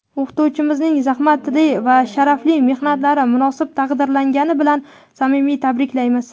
O‘qituvchimizning zahmatli va sharafli mehnatlari munosib taqdirlangani bilan samimiy tabriklaymiz!.